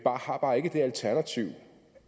har bare ikke det alternativ